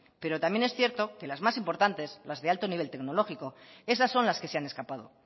pero también es cierto que las más importantes las de alto nivel tecnológico esas son las que se han escapado